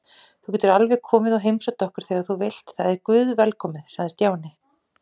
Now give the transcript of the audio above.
Þú getur alveg komið og heimsótt okkur þegar þú vilt, það er guðvelkomið sagði Stjáni.